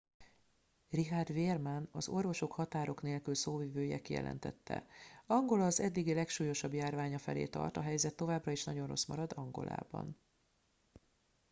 richard veerman az orvosok határok nélkül szóvivője kijelentette angola az eddigi legsúlyosabb járványa felé tart a helyzet továbbra is nagyon rossz marad angolában